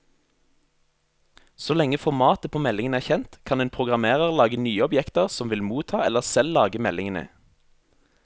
Så lenge formatet på meldingen er kjent, kan en programmerer lage nye objekter som vil motta eller selv lage meldingene.